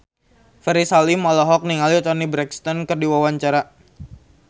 Ferry Salim olohok ningali Toni Brexton keur diwawancara